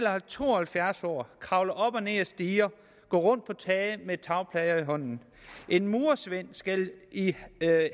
er to og halvfjerds år kravle op og ned ad stiger og gå rundt på tage med tagplader i hånden og en murersvend skal i